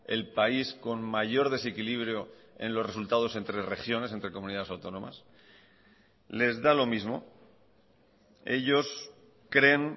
el país con mayor desequilibrio en los resultados entre regiones entre comunidades autónomas les da lo mismo ellos creen